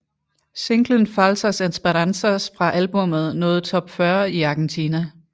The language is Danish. Singlen Falsas Esperanzas fra albummet nåede top 40 i Argentina